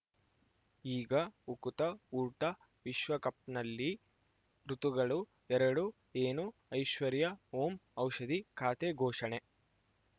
ಈಗ ಉಕುತ ಊಟ ವಿಶ್ವಕಪ್‌ನಲ್ಲಿ ಋತುಗಳು ಎರಡು ಏನು ಐಶ್ವರ್ಯಾ ಓಂ ಔಷಧಿ ಖಾತೆ ಘೋಷಣೆ